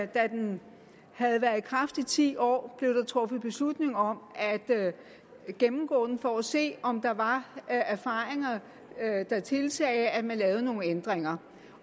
da den havde været i kraft i ti år blev der truffet beslutning om at gennemgå den for at se om der var erfaringer der tilsagde at man lavede nogle ændringer